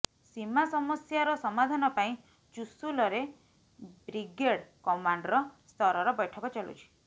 ସୀମା ସମସ୍ୟାର ସମାଧାନ ପାଇଁ ଚୁସୁଲରେ ବ୍ରିଗେଡ୍ କମାଣ୍ଡର ସ୍ତରର ବୈଠକ ଚାଲୁଛି